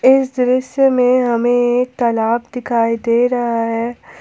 इस दृश्य मे हमे एक तालाब दिखाई दे रहा है।